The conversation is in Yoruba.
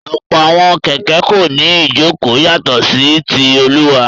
Ọ̀pọ̀ àwọn kẹ̀kẹ́ kò ní ìjókòó yàtọ̀ sí ti olùwà.